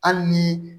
Hali ni